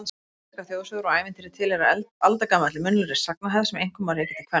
Íslenskar þjóðsögur og ævintýri tilheyra aldagamalli munnlegri sagnahefð sem einkum má rekja til kvenna.